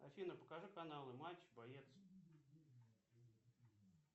афина покажи каналы матч боец